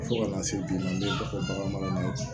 Fo ka na se bi ma ko bagan marala ye